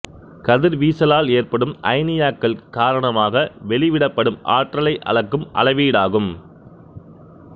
கதிர் வீசலால் ஏற்படும் அயனியாக்கல் காரணமாக வெளிவிடப்படும் ஆற்றலை அளக்கும் அளவீடாகும்